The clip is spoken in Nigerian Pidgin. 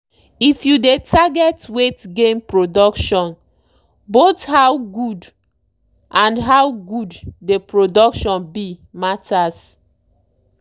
if you dey target weight gain productionboth how good and how good dey production be matters.